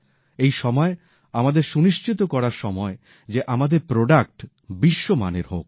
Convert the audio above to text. এই সময় আমাদের সুনিশ্চিত করার সময় যে আমাদের উৎপাদিত পণ্য বিশ্বমানের হোক